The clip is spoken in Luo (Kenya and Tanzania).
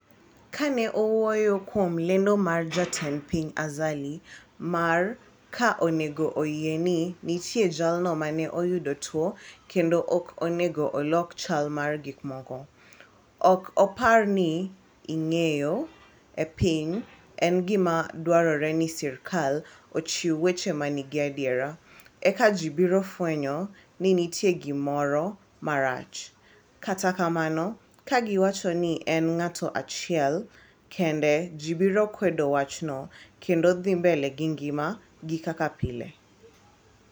"kane owuoyo kuom lendo mar jatend piny Azali mar ka onego oyie ni nitie jalno mane oyudo tuo kendo ok onego olok chal mar gikmoko "ok apar ni ing'eyo e piny en gima dwarore ni serkal ochiw weche manigi adiera ,eka ji biro fwenyo ni nitie gimoro marach, kata kamano ka giwacho ni en ng'ato achiel kende ji biro kwedo wachno kendo dhi mbele gi ng'ima gi kaka pile.